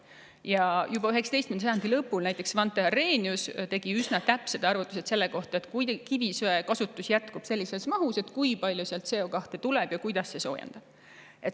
Ja juba 19. sajandi lõpul tegi näiteks Svante Arrhenius üsna täpsed arvutused selle kohta, et kui kivisöe kasutus jätkub sellises mahus, siis kui palju sealt CO2 tuleb ja kuidas see soojendab.